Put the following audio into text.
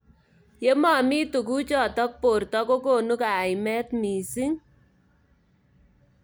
Yemomi tukjotk borto kokonu kaimet missing.